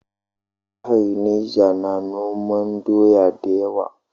Jihar Neja na noman doya da yawa.